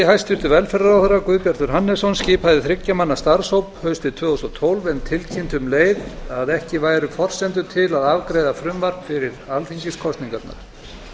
hæstvirtur velferðarráðherra guðbjartur hannesson skipaði þriggja manna starfshóp haustið tvö þúsund og tólf en tilkynnti um leið að ekki væru forsendur til að afgreiða frumvarp fyrir alþingiskosningarnar